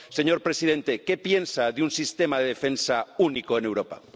Señor presidente, ¿qué piensa de un sistema de defensa único en Europa?